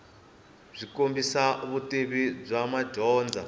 byi kombisa vutivi bya madyondza